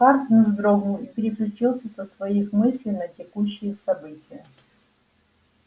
хардин вздрогнул и переключился со своих мыслей на текущие события